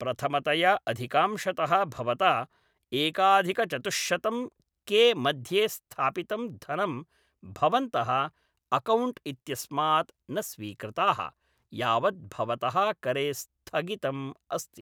प्रथमतया अधिकांशतः भवता एकाधिकचतुश्शतं के मध्ये स्थापितं धनं भवन्तः अकौण्ट् इत्यस्मात् न स्वीकृताः, यावत् भवतः करे स्थगितम् अस्ति।